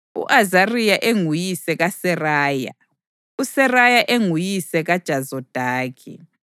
u-Azariya enguyise kaSeraya, uSeraya enguyise kaJozadaki.